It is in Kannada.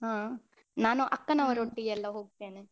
ಹ ನಾನು ಅಕ್ಕನವರೊಟ್ಟಿಗೆ ಎಲ್ಲ ಹೋಗ್ತೇನೆ.